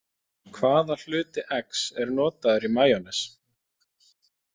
Hvaða hluti eggs er notaður í majónes?